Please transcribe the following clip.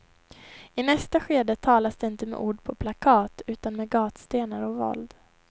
I nästa skede talas det inte med ord på plakat utan med gatstenar och våld.